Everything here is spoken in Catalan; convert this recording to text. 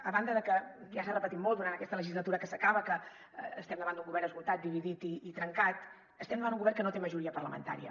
a banda de que ja s’ha repetit molt durant aquesta legislatura que s’acaba que estem davant d’un govern esgotat dividit i trencat estem davant un govern que no té majoria parlamentària